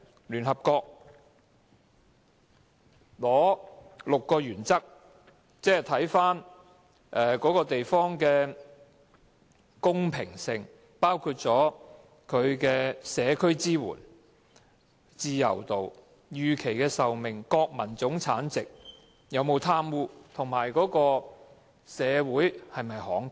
聯合國定出6個原則，看看該地方的公平性，包括社區支援、自由度、預期壽命、國民生產總值、有否貪污，以及社會是否慷慨。